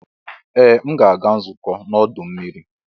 Ee! M ga-aga nzukọ n'ọdọ mmiri.